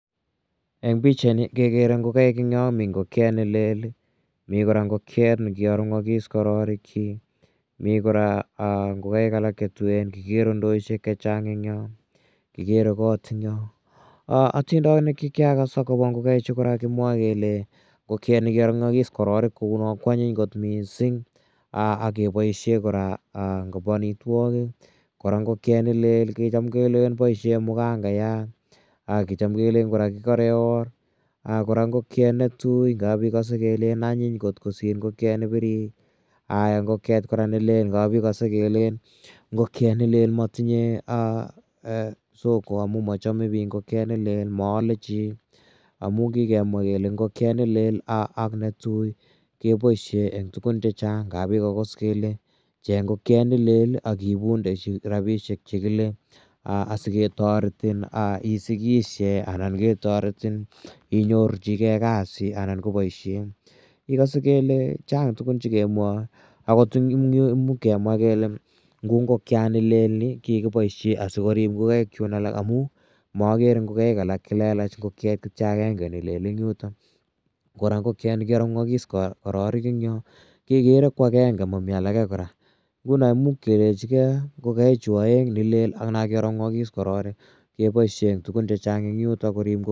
Eng' pichaini kekere ngokaik eng' yo. Mi ngokiet ne lel, mi kora ngokiek ne kiarung'is kororikchik, mi kora ngokaik alake che tuen, kikere ndoishek che chang' eng' yo, kikere kot ebg' yo. Atindonik che kiakas akopa ngokaichu kora kimwae kele ngokiani kiarung'is kororik kou no ko anyiny kot missing' ak kepaishe kora eng' panitwogik. Kora ngokiet ne lel ko cham kelen mgangayat ak kicham kelen kora kikare or. Kora ngokiet ne tu ngap ikase kelen anyiny kosir ngokiet ne pirir. Aya ngokiet kora ne lel, ngap ikase kora kelen ngokiet ne lel ko ma tinye soko amu ma chame piik ngokiet ne lel, maale chi amun kikemwa kele ngokiet ne lel ak netui kepaishe eng' tugun che chang'. Ngap ikas akot kele cheng' ngokiet ne lel ak iipunde rapishek che kile asiketaretin isikishe anan ketaretin inyorchigei kasit anan ko poishet. Ikase kele chang' tugun che kemwae. Agot eng' yu ko much kemwa kele kou ngokiani lel ko kikipae asikorip ngokaik chun alak che lelach ngokiet kityo akenge ni lel eng' yutok. Kora ngokiani kiarung'akis kororik eng' yo kekere ko agenge mami alake kora. Nguno imuch kelechigei ngolaichu aeng' ni lel ak na kiarung'akis kororik kepaishe eng' tugun che chang' eng' yutok korip ngokaik.